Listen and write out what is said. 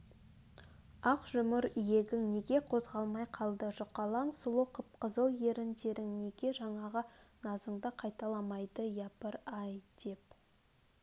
ақ жұмыр иегің неге қозғалмай қалды жұқалаң сұлу қып-қызыл ерндерің неге жаңағы назыңды қайталамайды япыр-а-а-ай деп